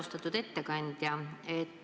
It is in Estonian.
Austatud ettekandja!